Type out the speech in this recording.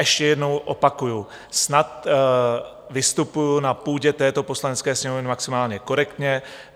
Ještě jednou opakuji - snad vystupuji na půdě této Poslanecké sněmovny maximálně korektně.